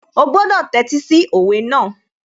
Ó gbọ́dọ̀ tẹ́tí sí òwe náà